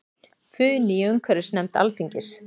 Funi í umhverfisnefnd Alþingis